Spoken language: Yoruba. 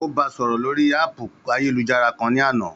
Ó ba sọ̀rọ̀ lórii háàpù ayélujára kan ní àná